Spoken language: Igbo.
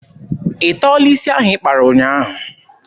Ị tọọla isi ahụ ị kpara ụnyaahụ?